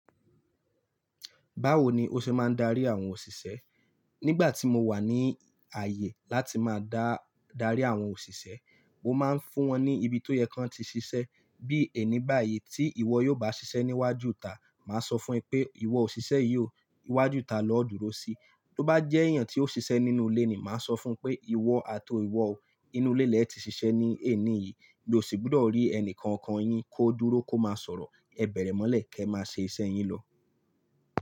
Báwo ni o ṣe máa ń darí àwọn òṣìṣẹ́? Nígbà tí mo wà ní ààyè láti máa dà, darí àwọn òṣìṣẹ́, mo máa ń fún wọn ní ibi tó yẹ kan ti ṣiṣẹ́. Bí ẹni báyi tí ìwọ yóò bá ṣiṣẹ́ níwájú ìta, màá sọ fún ẹ pé ìwọ òṣìṣẹ́ yìí ó, iwájú ìta lọ dúró sí. Tó bá jẹ́ èèyàn tí ó ṣiṣẹ́ nínú ilé ni, màá sọ fún un pé ìwọ àti ìwọ ó, inú ilé lẹ ti ṣiṣẹ́ ní èní yìí. Mi ò sì gbúdọ̀ rí ẹni kankan yín kó dúró kó máa sọ̀rọ̀. Ẹ bẹ̀rẹ̀ mọ́lẹ̀ kí ẹ máa ṣe iṣẹ́ yín lọ.